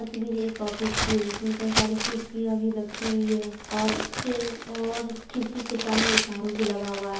तस्वीर एक ऑफिस की है जिसमे कई सारी कुर्सियां भी रखी हुई है और ऐकी-और खिड़की के सामने एक आर_ओ भी लगा हुआ है।